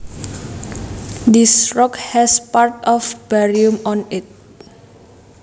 This rock has parts of barium on it